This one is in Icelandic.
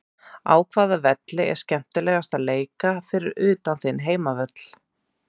Á hvaða velli er skemmtilegast að leika fyrir utan þinn heimavöll?